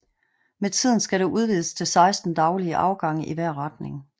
Med tiden skal der udvides til 16 daglige afgange i hver retning